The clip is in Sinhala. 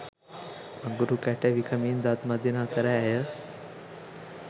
අඟුරු කැට විකමින් දත් මදින අතර ඇය